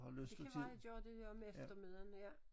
Det kan være jeg gør det her om eftermiddagen ja